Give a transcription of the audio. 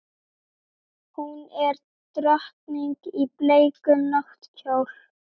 Hún er drottning í bleikum náttkjól.